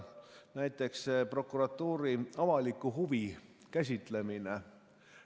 Näiteks prokuratuuri avaliku huvi käsitlemine.